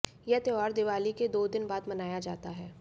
यह त्योहार दिवाली के दो दिन बाद मनाया जाता है